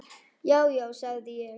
Já, já, sagði ég.